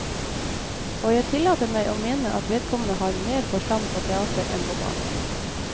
Og jeg tillater meg å mene at vedkommende har mer forstand på teater enn på barn.